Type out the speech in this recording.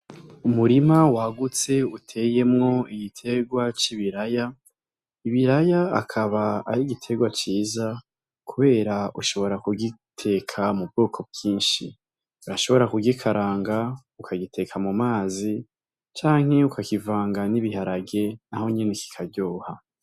Umurima wagutse uteyemwo igiterwa c'ibiraya ,ibiray'akab'ar'igiterwa ciza kubera ushobora kugiteka mu bwoko bwinshi. Urashobora kugikaranga, ukagiteka mu mazi canke ukakivanga n'ibiharage nahonyene kikaryoha.